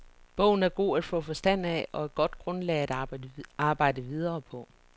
Bogen er god at få forstand af og et godt grundlag at arbejde videre på.